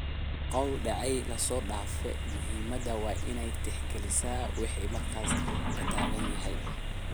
Qawal decey lasodaaf muhimada waina tixkalisaa wixi markas lataganyhy.